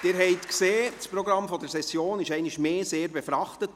Sie haben es gesehen, das Programm der Session ist einmal mehr stark befrachtet.